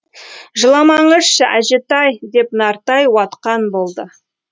жыламаңызшы әжетай деп нартай уатқан болды